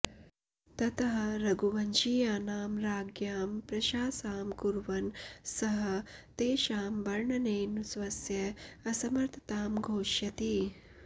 ततः रघुवंशीयानां राज्ञां प्रशासां कुर्वन् सः तेषां वर्णनेन स्वस्य असमर्थतां घोषयति